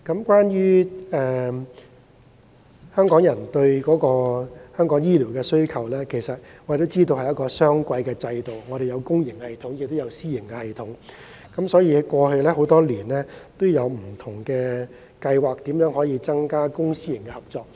關於香港人的醫療需求，大家都知道，香港實行雙軌制度，有公營系統，也有私營系統，多年來政府曾推出不同的計劃，嘗試增加公私營合作。